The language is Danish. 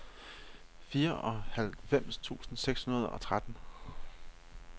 fireoghalvfems tusind seks hundrede og tretten